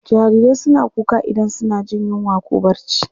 Jarirai suna kuka idan suna jin yinwa ko barci.